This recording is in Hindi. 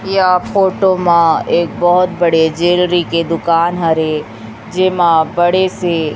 या फोटो मा एक बहोत बड़े ज्वेलरी के दुकान हरे जे मा बड़े से --